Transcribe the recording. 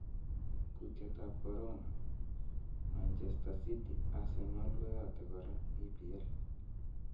Kutietab Korona: Manchester city, Arsenal koyote kora EPL